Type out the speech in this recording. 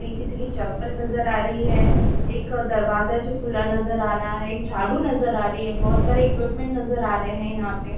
कहीं किसी की चप्पल नजर आ रही है एक दरवाजा है जो खुला नज़र आ रहा है एक झाड़ू नज़र आ रही है बहुत सारे इक्विपमेंट नज़र आ रहे है यहाँ पे--